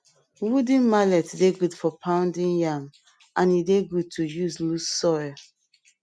wooden mallet dey good for pounding yam and e dey good to use loose soil